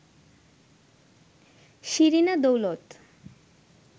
Shirina Daulat